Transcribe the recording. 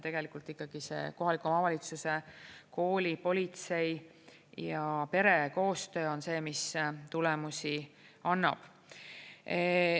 Tegelikult ikkagi kohaliku omavalitsuse, kooli, politsei ja pere koostöö on see, mis tulemusi annab.